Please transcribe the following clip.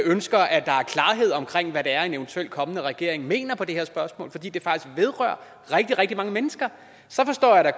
ønsker at der er klarhed omkring hvad det er en eventuelt kommende regering mener i det her spørgsmål fordi det faktisk vedrører rigtig rigtig mange mennesker så forstår jeg da